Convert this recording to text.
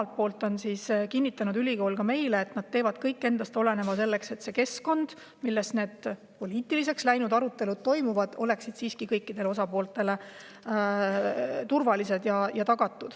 Ülikool on kinnitanud meile, et nad teevad kõik endast oleneva tagamaks, et see keskkond, milles need poliitiliseks läinud arutelud toimuvad, oleks kõikidele osapooltele turvaline.